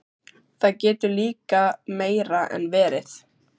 Það getur líka meira en verið.